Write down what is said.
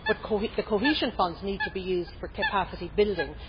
but the cohesion funds need to be used for capacity building.